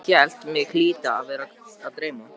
Ég hélt mig hlyti að vera að dreyma.